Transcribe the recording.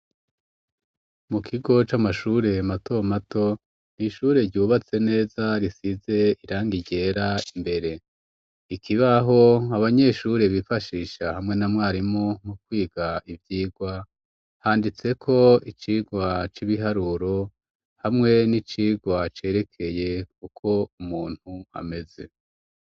Mu kigo c'amashure mato mato ishure ryubatse neza risize irangi ryera imbere ikibaho abanyeshure bifashisha hamwe na Mwarimu mu kwiga ibyigwa handitse ko icigwa c'ibiharuro hamwe n'icigwa cerekeye kuko umuntu ameze.